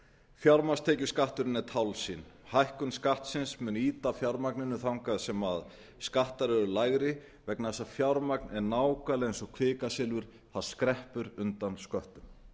fjármagnstekjuskatturinn er tálsýn hækkun skattsins mun ýta fjármagninu þangað sem skattar eru lægri vegna þess að fjármagn er nákvæmlega eins og kvikasilfur það skreppur undan sköttum